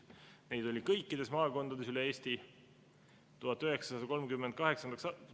Neid oli kõikides Eesti maakondades.